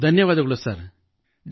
ನಮಗೆ ಡಾ